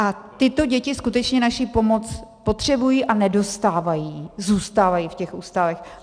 A tyto děti skutečně naši pomoc potřebují a nedostávají, zůstávají v těch ústavech.